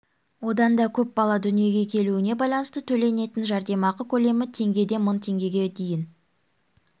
одан да көп бала дүниеге келуіне байланысты төленетін жәрдемақы көлемі теңгеден мың теңгеге дейін